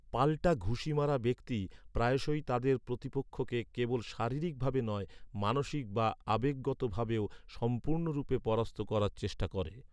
পাল্টা ঘুষি মারা ব্যক্তি, প্রায়শই তাদের প্রতিপক্ষকে কেবল শারীরিক ভাবে নয়, মানসিক বা আবেগগত ভাবেও সম্পূর্ণরূপে পরাস্ত করার চেষ্টা করে।